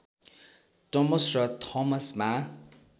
टमस र थोमसमा